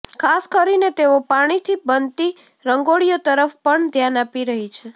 ખાસ કરીને તેઓ પાણીથી બનતી રંગોળીઓ તરફ પણ ધ્યાન આપી રહી છે